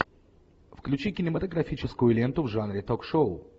включи кинематографическую ленту в жанре ток шоу